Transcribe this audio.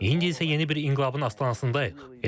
İndi isə yeni bir inqilabın astanasındayıq.